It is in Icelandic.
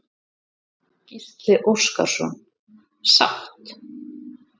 Gísli Óskarsson: Sátt?